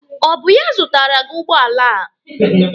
Ọ bụ ya zụtara gị ụgbọala a?